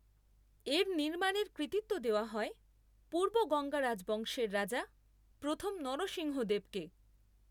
এর নির্মাণের কৃতিত্ব দেওয়া হয় পূর্ব গঙ্গা রাজবংশের রাজা প্রথম নরসিংহদেবকে।